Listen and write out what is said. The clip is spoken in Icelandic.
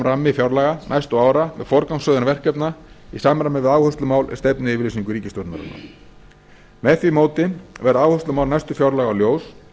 rammi fjárlaga næstu ára með forgangsröðun verkefna í samræmi við áherslumál í stefnuyfirlýsingu ríkisstjórnarinnar með því móti verða áherslumál næstu fjárlaga ljós